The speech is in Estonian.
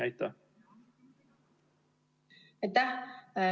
Aitäh!